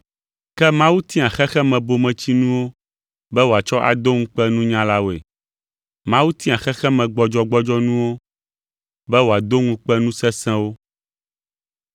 Ke Mawu tia xexemebometsinuwo be wòatsɔ ado ŋukpe nunyalawoe. Mawu tia xexemegbɔdzɔgbɔdzɔnuwo be woado ŋukpe nu sesẽwo.